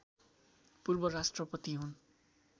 पूर्व राष्ट्रपति हुन्